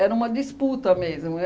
uma disputa mesmo.